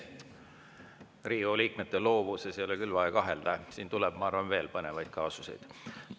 Riigikogu liikmete loovuses ei ole küll vaja kahelda, siin tuleb, ma arvan, veel põnevaid kaasuseid.